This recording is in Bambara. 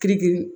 Kirikiri